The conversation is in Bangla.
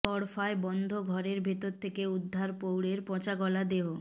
গড়ফায় বন্ধ ঘরের ভিতর থেকে উদ্ধার প্রৌঢ়ের পচাগলা দেহ